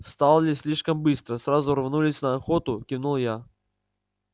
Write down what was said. встали слишком быстро сразу рванулись на охоту кивнул я